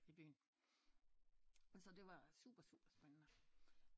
I byen så det var super super spændende